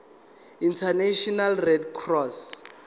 international red cross